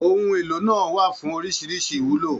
Ohun èlò náà wà fún oríṣiríṣi ìwúlò.